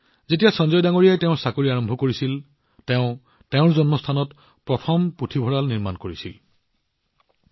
যেতিয়া সঞ্জয়জীয়ে কাম কৰা আৰম্ভ কৰিছিল তেওঁ প্ৰথম পুথিভঁৰালটো তেওঁৰ জন্মস্থানত নিৰ্মাণ কৰিছিল